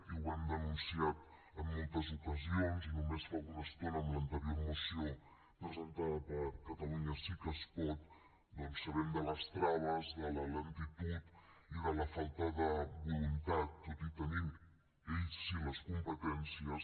i ho hem denunciat en moltes ocasions i només fa una estona en l’anterior moció presentada per catalunya sí que es pot doncs sabem de les traves de la lentitud i de la falta de voluntat tot i tenint ells sí les competències